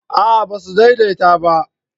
a'a ba su daidaita ba